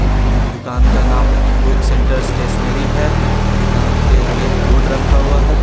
एक बूंद दूकान का नाम बुक सेंटर स्टेशनरी है दूकान के आगे एक बोर्ड रखा हुआ है।